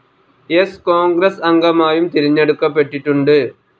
സ്‌ കോൺഗ്രസ്‌ അംഗമായും തെരഞ്ഞെടുക്കപ്പെട്ടിട്ടുണ്ട്.